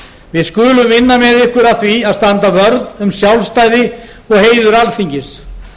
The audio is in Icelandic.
við skulum vinna með ykkur að því að standa vörð um sjálfstæði og heiður alþingis